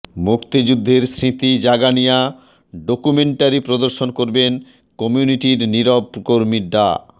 মুক্তিযুদ্ধের স্মৃতি জাগানিয়া ডক্যুমেন্টারি প্রদর্শন করবেন কম্যুনিটির নিরব কর্মী ডা